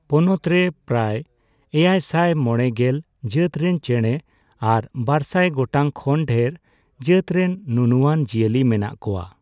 ᱯᱚᱱᱚᱛ ᱨᱮ ᱯᱨᱟᱭ ᱮᱭᱟᱭᱥᱟᱭ ᱢᱚᱲᱮᱜᱮᱞ ᱡᱟᱹᱛᱨᱮᱱ ᱪᱮᱬᱮ ᱟᱨ ᱵᱟᱨᱥᱟᱭ ᱜᱚᱴᱟᱝ ᱠᱷᱚᱱ ᱰᱷᱮᱨ ᱡᱟᱹᱛᱨᱮᱱ ᱱᱩᱱᱩᱣᱟᱱ ᱡᱤᱭᱟᱹᱞᱤ ᱢᱮᱱᱟᱜ ᱠᱚᱣᱟ ᱾